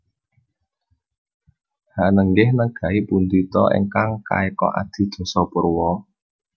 Hanenggih negai pundi ta ingkang kaeka adi dasa purwa